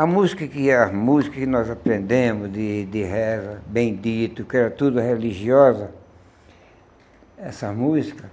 A música que A música que nós aprendemos de de reza, bendito, que era tudo religiosa, essa música,